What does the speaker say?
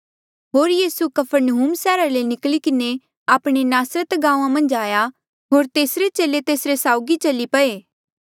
होर यीसू कफरनहूम सैहरा ले निकली किन्हें आपणे नासरता गांऊँआं मन्झ आया होर तेसरे चेले तेसरे साउगी चली पये